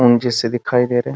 हम जैसे दिखाई दे रहे हैं |